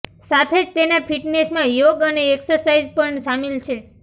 સાથે જ તેના ફિટનેસમાં યોગ અને એક્સરસાઇઝ પણ શામિલ છે